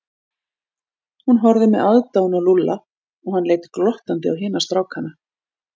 Hún horfði með aðdáun á Lúlla og hann leit glottandi á hina strákana.